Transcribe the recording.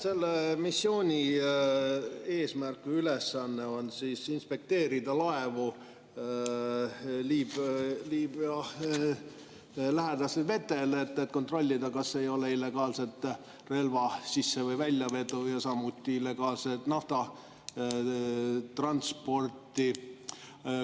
Selle missiooni eesmärk või ülesanne on inspekteerida laevu Liibüa lähedastel vetel, et kontrollida, kas ei ole illegaalset relvade sisse‑ või väljavedu ja samuti illegaalset naftatransporti.